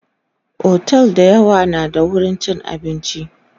otel da yawa na da wurin chin abinci